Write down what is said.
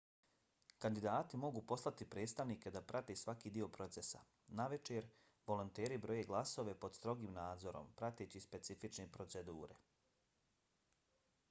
kandidati mogu poslati predstavnike da prate svaki dio procesa. navečer volonteri broje glasove pod strogim nadzorom prateći specifične procedure